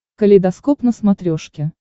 калейдоскоп на смотрешке